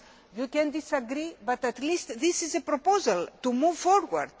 You may disagree, but at least this is a proposal to move forward.